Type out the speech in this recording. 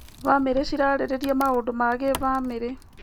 Bamĩrĩ cirarĩrĩria maũndũ ma gĩbamĩrĩ.